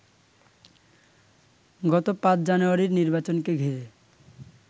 গত ৫ জানুয়ারির নির্বাচনকে ঘিরে